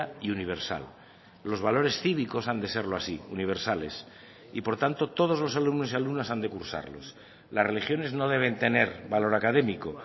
y universal los valores cívicos han de serlo así universales y por tanto todos los alumnos y alumnas han de cursarlos las religiones no deben tener valor académico